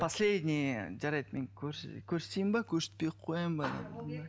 последний жарайды мен көрсетейін бе көрсетпей ақ қояйын ба